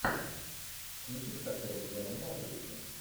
кинчик с актером джоном малковичем